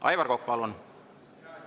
Aivar Kokk, palun!